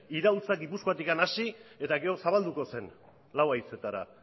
iraultza gipuzkoatik hasi eta gero zabalduko zen lau haizeetara